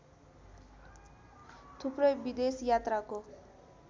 थुप्रै विदेश यात्राको